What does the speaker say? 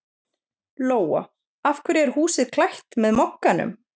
Lóa: Af hverju er húsið klætt með Mogganum?